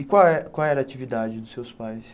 E qual é qual era a atividade dos seus pais?